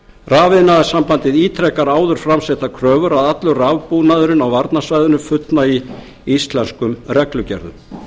rafiðnaðarsambandið ítrekar áður fram settar kröfur að allur rafbúnaðurinn varnarsvæðinu fullnægi íslenskum reglugerðum